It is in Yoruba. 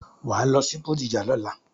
Wàá lọ sí Bódìjà lọ́la!